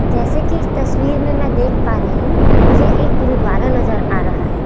जैसे की इस तस्वीर में मैं देख पा रही हूं मुझे एक गुरुद्वारा नजर आ रहा है।